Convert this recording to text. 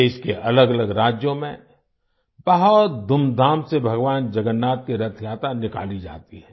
देश के अलगअलग राज्यों में बहुत धूमधाम से भगवान जगन्नाथ की रथयात्रा निकाली जाती है